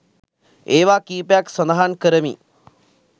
ඒවා කීපයක් සඳහන් කරමි.